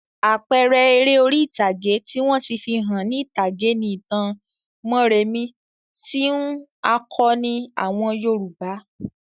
Àpẹẹrẹ eré orí-ìtàgé tí wọ́n ti fi hàn ní ìtàgé ni ìtàn Mórèmí tí ń àkọni àwọn Yorùbá.